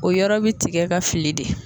O yɔrɔ bɛ tigɛ ka fili de.